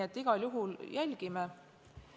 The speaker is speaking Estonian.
Me igal juhul jälgime seda.